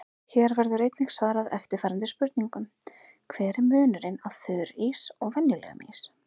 Hér verður einnig svarað eftirfarandi spurningum: Hver er munurinn á þurrís og venjulegum ís?